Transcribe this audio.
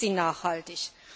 Dann sind sie nachhaltig.